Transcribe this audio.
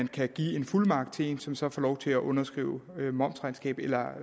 kan give en fuldmagt til en som så får lov til at underskrive momsregnskabet eller